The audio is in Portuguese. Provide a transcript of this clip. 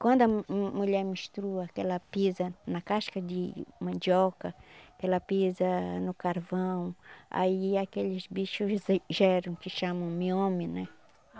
Quando a mu mu mulher menstrua, que ela pisa na casca de mandioca, que ela pisa no carvão, aí aqueles bichos geram, que chamam miome, né?